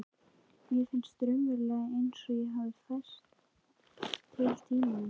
Mér finnst raunverulega einsog ég hafi færst til í tímanum.